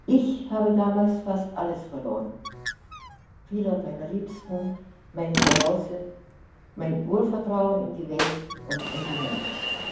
Ich habe damals fast alles verloren viele meiner Liebsten, mein Zuhause, mein Urvertrauen in die Welt und in die Menschen.